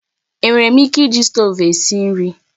Enwere m ike iji stovu gị esi nri?